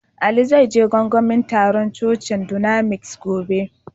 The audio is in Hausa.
Ali zai je gangamin tarun cocin dunamis gobe.